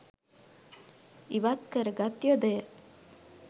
ඉවත් කරගත් යොදය